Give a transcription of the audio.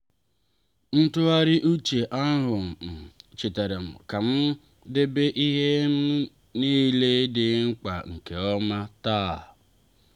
ntụgharị uche ahụ um chetaram ka m debe ihe m nile dị mkpa nke ọma taa.